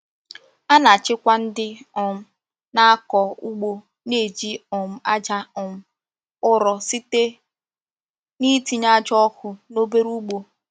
A na-achịkwa ndị um na-akọ ugbo na-eji um aja um ụrọ site n’itinye aja ọkụ na obere ugbo.